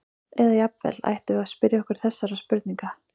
Eða jafnvel: Ættum við að spyrja okkur þessara spurninga?